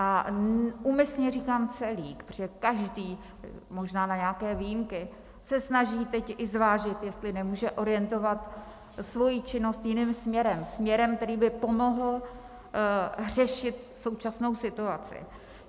A úmyslně říkám celý, protože každý, možná na nějaké výjimky, se snaží teď i zvážit, jestli nemůže orientovat svoji činnost jiným směrem, směrem, který by pomohl řešit současnou situaci.